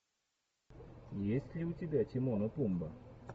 есть ли у тебя тимон и пумба